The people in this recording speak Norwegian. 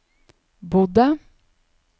bodde